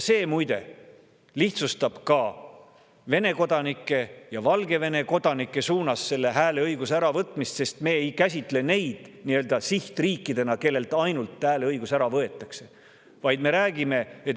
See muide lihtsustab ka Vene kodanikelt ja Valgevene kodanikelt hääleõiguse äravõtmist, sest me ei käsitle neid nii-öelda sihtriikidena, kelle ainsana hääleõigus ära võetakse.